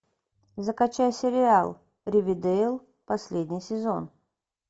закачай сериал ривердейл последний сезон